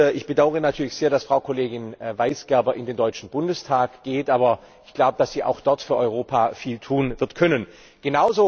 Ich bedaure natürlich sehr, dass Frau Kollegin Weisgerber in den Deutschen Bundestag geht, aber, ich glaube, dass sie auch dort für Europa viel tun können wird.